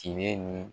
Tiɲɛ ni